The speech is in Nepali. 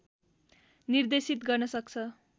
निर्देशित गर्न सक्छ